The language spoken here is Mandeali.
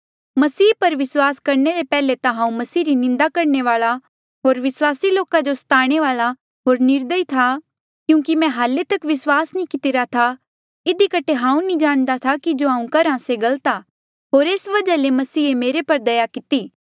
मसीह पर विस्वास करणे ले पैहले ता हांऊँ मसीह री निंदा करणे वाल्आ होर विस्वासी लोका जो स्ताणे वाल्आ होर निर्दयी था क्यूंकि मैं हाल्ले तक विस्वासा नी कितिरा था इधी कठे हांऊँ नी जाणदा था कि जो हांऊँ करहा था से गलत आ होर एस वजहा ले मसीहे मेरे पर दया किती